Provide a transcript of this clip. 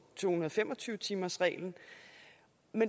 fem og tyve timersreglen